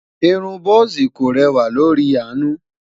irún buzi kò rẹwa lórí anu